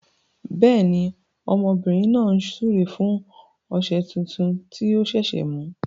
Bẹẹni, ọmọbìnrin náà ń súre fún ọ̀sẹ̀ tuntun tí a ṣẹ̀ṣẹ̀ mú.